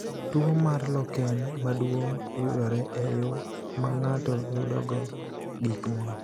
Tuwo mar Loken maduong’ yudore e yo ma ng’ato yudogo gik moko.